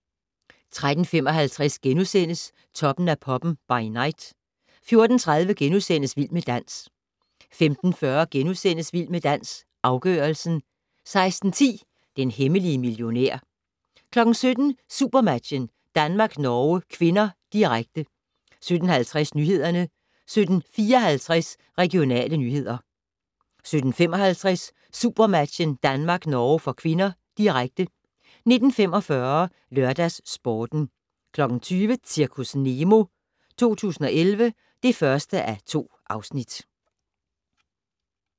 13:55: Toppen af poppen - by night * 14:30: Vild med dans * 15:40: Vild med dans - afgørelsen * 16:10: Den hemmelige millionær 17:00: SuperMatchen: Danmark-Norge (k), direkte 17:50: Nyhederne 17:54: Regionale nyheder 17:55: SuperMatchen: Danmark-Norge (k), direkte 19:45: LørdagsSporten 20:00: Zirkus Nemo 2011 (1:2)